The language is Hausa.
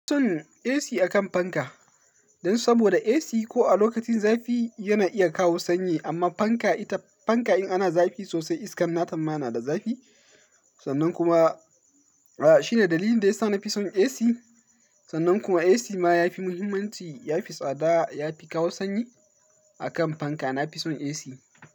Ina fi son AC akan fanka dan saboda AC ko a lokacin zafi yana iya kawo sanyi amma fanka ita fanka in ana zafi sosai iskan nata na da zafi sannan kuma, a shine dalilin da yasa na fi son AC sannan kuma AC ma yafi muhimmanci yafi tsada yafi kawo sanyi akan fanka. Na fi son AC.